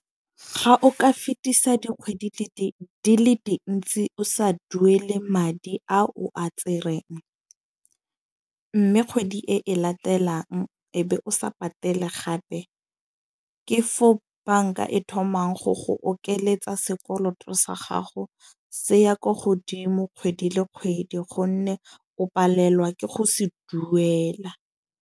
Ga o ka fetisa dikgwedi di le dintsi o sa duele madi a o a tsereng. Mme kgwedi e e latelang e be o sa patele gape, ke fo banka e thomang go go okeletsa sekoloto sa gago. Se ya ko godimo kgwedi le kgwedi, gonne o palelwa ke go se duela.